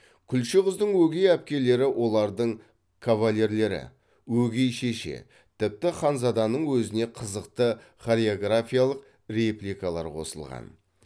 күлше қыздың өгей әпкелері олардың кавалерлері өгей шеше тіпті ханзаданың өзіне қызықты хореографиялық репликалар қосылған